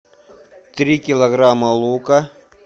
три килограмма лука